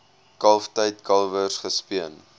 kalftyd kalwers gespeen